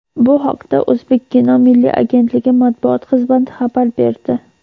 Bu haqda "O‘zbekkino" milliy agentligi matbuot xizmati xabar berdi.